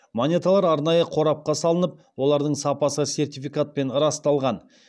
монеталар арнайы қорапқа салынып олардың сапасы сертификатпен расталған